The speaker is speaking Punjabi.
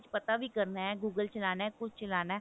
ਪਤਾ ਵੀ ਕਰਨਾ google ਚਲਾਉਣਾ ਕੁਛ ਚਲਾਉਣਾ